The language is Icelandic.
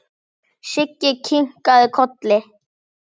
Siggi kinkaði kolli.